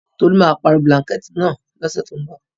Tolú máa pàrọ̀ bílánkẹ̀tì náà lọ́sẹ̀ tínbọ̀.